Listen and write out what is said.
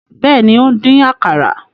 Bẹẹni, o n dín àkàrà